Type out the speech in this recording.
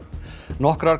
nokkrar